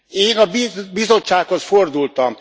Én a Bizottsághoz fordultam.